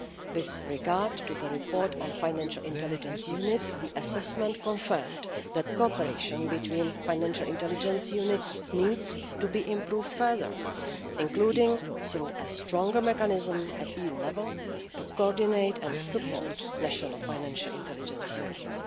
With regard to the report on financial intelligence units, the assessment confirmed that cooperation between financial intelligence units needs to be improved further, including through a stronger mechanism at EU level, to coordinate and support national financial intelligence units.